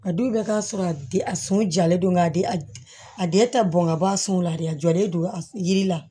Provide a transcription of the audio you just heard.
A don bɛ k'a sɔrɔ a di a sun jalen do nka a den a den ta bɔn ka bɔ a sun la dɛ a jɔlen don a yiri la